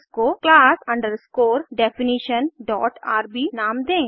इसको class definitionrb नाम दें